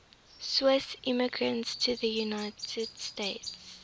swiss immigrants to the united states